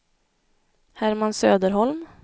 Herman Söderholm